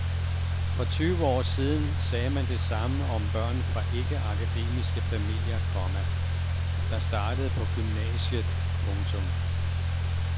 For tyve år siden sagde man det samme om børn fra ikke akademiske familier, komma der startede på gymnasiet. punktum